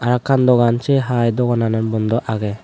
arokan dogan sey haai dogananot bondo agey.